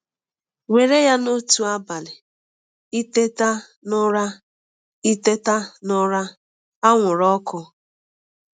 Were ya na otu abalị ị teta n’ụra ị teta n’ụra anwụrụ ọkụ.